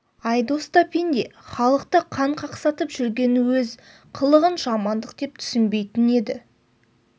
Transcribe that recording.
айдос та пенде халықты қан қақсатып жүрген өз қылығын жамандық деп түсінбейтін еді